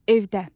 Evdə.